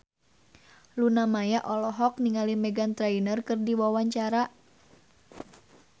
Luna Maya olohok ningali Meghan Trainor keur diwawancara